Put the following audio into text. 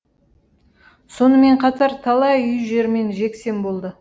сонымен қатар талай үй жермен жексен болды